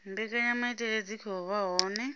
mbekanyamaitele dzi khou vha hone